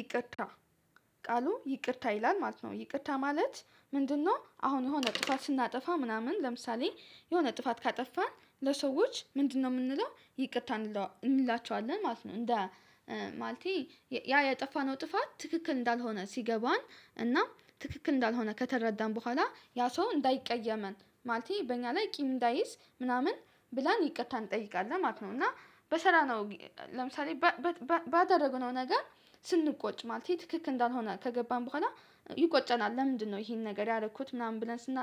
ይቅርታ ቃሉ ይቅርታ ይላል ማለት ነው ይቅርታ ማለት ምንድነው አሁን የሆነ ጥፋት ስናጠፋ ምናምን ለምሳሌ የሆነ ጥፋት ካጠፋን ለሰዎች ምንድነው የምንለው ይቅርታ እንለዋ እንላቸዋለን ማለት ነው እንደ ማለቴ ያ ያጠፋነው ጥፋት ትክክል እንዳልሆነ ሲገባን እና ትክክል እንዳልሆነ ከተረዳን በኋላ ያ ሰው እንዳይቀየመን ማለቴ በእኛ ላይ ቂም እንዳይዝ ምናምን ብለን ይቅርታ እንጠይቃለን ማለት ነው እና በሰላም ነው ለምሳሌ ባደረገው ነው ነገር ስንቆጭ ማለት ነው ትክክ እንዳልሆነ ከገባን በኋላ ይቆጨናል ለምንድነው ይሄን ነገር ያደረኩት ምናምን ብለን ስና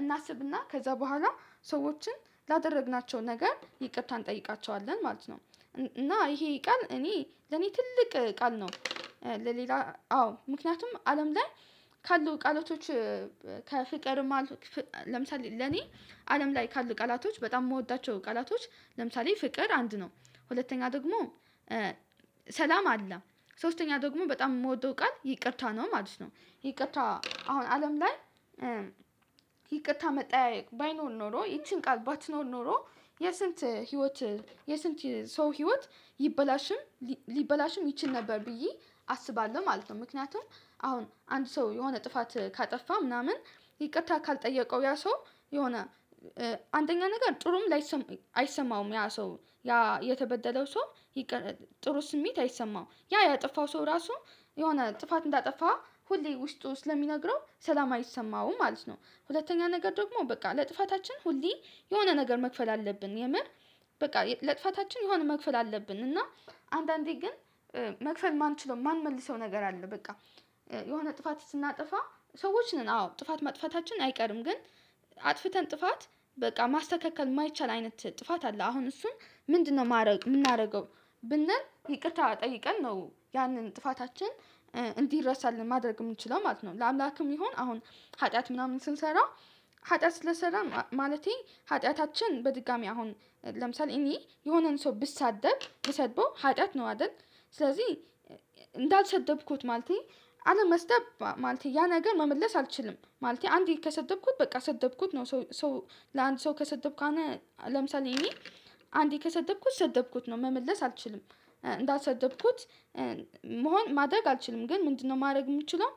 እናስብና ከዛ በኋላ ሰዎችን ላደረግናቸው ነገር ይቅርታ እንጠይቃቸዋለን ማለት ነው እና ይሄ ቃል እኔ ለኔ ትልቅ ቃል ነው ለሌላ አዎ ምክንያቱም አለም ላይ ካሉ ቃላቶች ከፍቀርማ ለምሳሌ ለኔ አለም ላይ ካሉ ቃላቶች በጣም የምወዳቸው ቃላቶች ለምሳሌ ፍቅር አንድ ነው ሁለተኛ ደግሞ ሰላም አለ ሶስተኛ ደግሞ በጣም የምወደው ቃል ይቅርታ ነው ማለት ነው ይቅርታ አሁን አለም ላይ ይቅርታ መጠያየቅ ባይኖር ኖሮ ይቺን ቃል ባትኖር ኖሮ የስንት ህይወት የስንት ሰው ህይወት ይበላሽም ሊበላሽም ይችል ነበር ብዬ አስባለሁ ማለት ነው ምክንያቱም አሁን አንድ ሰው የሆነ ጥፋት ካጠፋ ምናምን ይቅርታ ካልጠየቀው ያ ሰው የሆነ አንደኛ ነገር ጥሩም ላይሰ አይሰማውም ያ ሰው ያ የተበደለው ሰው ጥሩ ስሜት አይሰማው ያ ያጠፋው ሰው ራሱ የሆነ ጥፋት እንዳጠፋ ሁሌ ውስጡ ስለሚነግረው ሰላም አይሰማውም ማለት ነው ሁለተኛ ነገር ደግሞ በቃ ለጥፋታችን ሁሌ የሆነ ነገር መክፈል አለብን የምር በቃ ለጥፋታችን የሆነ መክፈል አለብን እና አንዳንዴ ግን መክፈል ማን ችለው ማን መልሰው ነገር አለ በቃ የሆነ ጥፋት ስናጠፋ ሰዎች ነን አዎ ጥፋት ማጥፋታችን አይቀርም ግን አጥፍተን ጥፋት በቃ ማስተካከል የማይቻል አይነት ጥፋት አለ አሁን እሱን ምንድነው ማድረግ የምናደርገው ብንል ይቅርታ ጠይቀን ነው ያንን ጥፋታችን እንዲረሳልን ማድረግ የምንችለው ማለት ነው ለአምላክም ይሁን አሁን ኃጢአት ምናምን ስንሰራ ሀጢያት ስለሰራ ማለቴ ሀጢያታችን በድጋሚ አሁን ለምሳሌ እኔ የሆነን ሰው ብሳደብ ብሰድበው ሀጢያት ነው አይደል? ስለዚህ እንዳልሰደብኩት ማለቴ አለመስደብ ማለቴ ያ ነገር መመለስ አልችልም። ማለቴ አንዴ ከሰደብኩት በቃ ሰደብኩት ነው። ሰው ለአንድ ሰው ከሰደብኩ አንድ ለምሳሌ እኔ አንዴ ከሰደብኩት ሰደብኩት ነው። ጨ መመለስ አልችልም። እንዳልሰደብኩት መሆን ማድረግ አልችልም። ግን ምንድነው ማድረግ የምችለው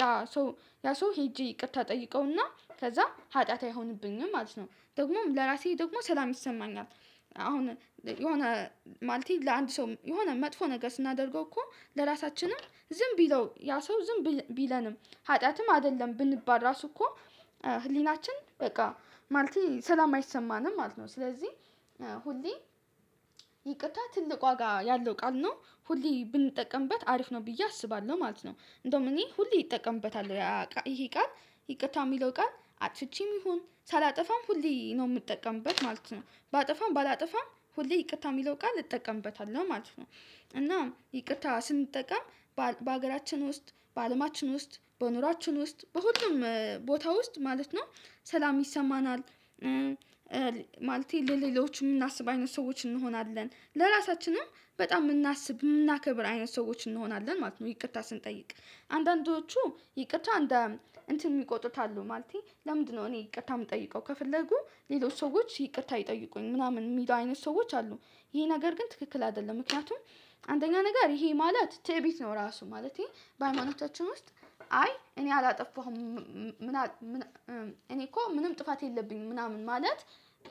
ያ ሰው ያ ሰው ሄጄ ይቅርታ እጠይቀውና ከዛ ሀጢያት አይሆንብኝም ማለት ነው። ደግሞም ለራሴ ደግሞ ሰላም ይሰማኛል። አሁን የሆነ ማለቴ ለአንድ ሰው የሆነ መጥፎ ነገር ስናደርገው እኮ ለራሳችንም ዝም ቢለው ያ ሰው ዝም ቢለንም ሀጢያትም አይደለም ብንባል ራሱ እኮ ህሊናችን በቃ ማለቴ ሰላም አይሰማንም ማለት ነው። ስለዚህ ሁሌ ይቅርታ ትልቅ ዋጋ ያለው ቃል ነው። ሁሌ ብንጠቀምበት አሪፍ ነው ብዬ አስባለሁ ማለት ነው። እንደውም እኔ ሁሌ ይጠቀምበታል። ይሄ ቃል ይቅታ የሚለው ቃል አፍቼም ይሁን ሳላጠፋም ሁሌ ነው የምጠቀምበት ማለት ነው። ባጠፋም ባላጠፋም ሁሌ ይቅታ የሚለው ቃል እጠቀምበታለሁ ማለት ነው። እናም ይቅርታ ስንጠቀም በሀገራችን ውስጥ፣ በአለማችን ውስጥ፣ በኑሯችን ውስጥ በሁሉም ቦታ ውስጥ ማለት ነው ሰላም ይሰማናል። ማለቴ ለሌሎች የምናስብ አይነት ሰዎች እንሆናለን። ለራሳችንም በጣም የምናስብ የምናከብር አይነት ሰዎች እንሆናለን ማለት ነው ይቅርታ ስንጠይቅ። አንዳንዶቹ ይቅርታ እንትን የሚቆጥሩት አሉ። ማለቴ ለምንድነው እኔ ይቅርታ የምጠይቀው ከፍለጉ ሌሎች ሰዎች ይቅርታ ይጠይቁኝ ምናምን የሚለው አይነት ሰዎች አሉ። ይሄ ነገር ግን ትክክል አይደለም። ምክንያቱም አንደኛ ነገር ይሄ ማለት ትዕቢት ነው ራሱ። ማለቴ በሃይማኖታችን ውስጥ አይ እኔ አላጠፋሁም እኔ እኮ ምንም ጥፋት የለብኝም ምናምን ማለት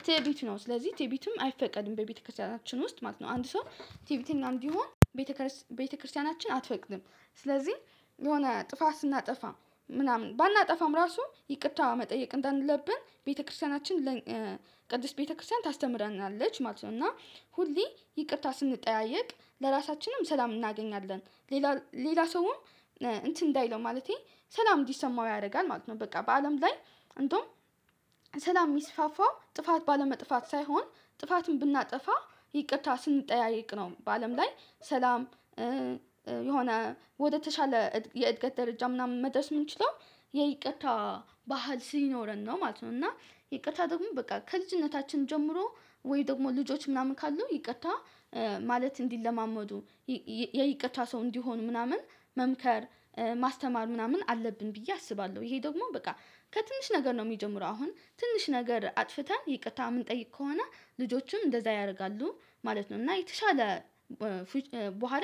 ትዕቢት ነው። ስለዚህ ትዕቢትም አይፈቀድም በቤተክርስቲያናችን ውስጥ ማለት ነው። አንድ ሰው ትዕቢተኛ እንዲሆን ቤተክርስቲያናችን አትፈቅድም። ስለዚህ የሆነ ጥፋት ስናጠፋ ምናምን ባናጠፋም ራሱ ይቅታ መጠየቅ እንዳለብን ቤተክርስቲያናችን ቅድስት ቤተክርስቲያን ታስተምረናለች ማለት ነው። እና ሁሌ ይቅርታ ስንጠያየቅ ለራሳችንም ሰላም እናገኛለን፣ ሌላ ሌላ ሰውም እንትን እንዳይለው ማለቴ ሰላም እንዲሰማው ያደርጋል ማለት ነው። በቃ በአለም ላይ እንደውም ሰላም የሚስፋፋው ጥፋት ባለመጥፋት ሳይሆን ጥፋትን ብናጠፋ ይቅርታ ስንጠያየቅ ነው። በአለም ላይ ሰላም የሆነ ወደተሻለ የእድገት ደረጃ ምናምን መድረስ የምንችለው የይቅርታ ባህል ሲኖረን ነው ማለት ነው። እና ይቅርታ ደግሞ በቃ ከልጅነታችን ጀምሮ ወይ ደግሞ ልጆች ምናምን ካሉ ይቅርታ ማለት እንዲለማመዱ የይቅርታ ሰው እንዲሆኑ ምናምን መምከር ማስተማር ምናምን አለብን ብዬ አስባለሁ። ይሄ ደግሞ በቃ ከትንሽ ነገር ነው የሚጀምረው። አሁን ትንሽ ነገር አጥፍተን ይቅርታ ምንጠይቅ ከሆነ ልጆችም እንደዛ ያደርጋሉ ማለት ነው። እና የተሻለ በኋላ